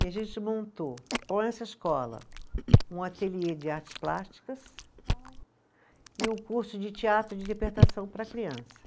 E a gente montou, com essa escola, um ateliê de artes plásticas e um curso de teatro de interpretação para criança.